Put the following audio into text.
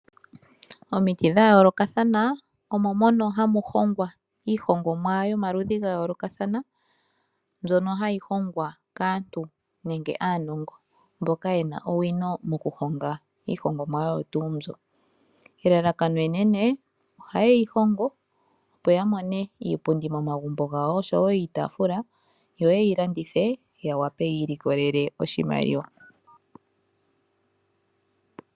Omiiti dhayoolokathana omo mono hamu hongwa iihongomwa yomaludhi gayolokathana. Mbyono hayi hongwa kaantu nenge aanongo mboka yena owino moku honga iihongomwa oyo tuu mbyo. Elalakano enene ohayeyi hongo opo ya mone iipundi momagumbo gawo oshowo iitafula. Yo yeyi landithe yawape yi ilikolele oshimaliwa.